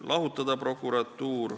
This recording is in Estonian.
Lahutada prokuratuur ...